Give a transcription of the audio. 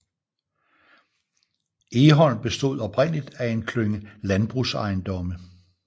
Egholm bestod oprindeligt af en klynge landbrugsejendomme